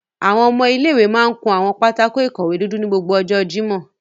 Awọn ọmọ ile-iwe màa ǹ kun awọn pátákó-ikọwe dudu ni gbogbo ọjọ Jimọ